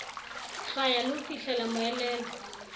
hlwaya le ho fihlela moelelo